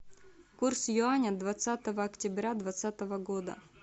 курс юаня двадцатого октября двадцатого года